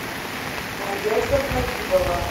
надежда хабибова